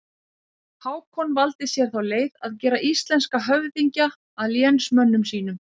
Hákon valdi sér þá leið að gera íslenska höfðingja að lénsmönnum sínum.